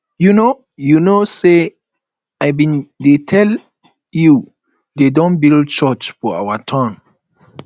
you know you know say i bin dey tell you dey don build church for our town